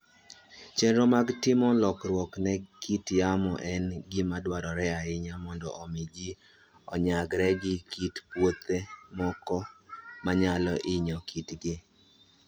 Chenro mag timo lokruok ne kit yamo en gima dwarore ahinya mondo omi ji onyagre gi kit puothe moko manyalo hinyo kitgi.